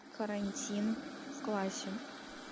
карантин в классе